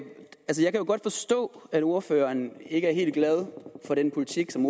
godt forstå at ordføreren ikke er helt glad for den politik som